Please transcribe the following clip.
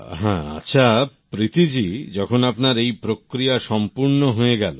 হ্যাঁ আচ্ছা প্রীতি জী যখন আপনার এই প্রক্রিয়া সম্পুর্ণ হয়ে গেল